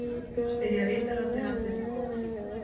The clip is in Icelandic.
spyrja ritararnir allir í kór.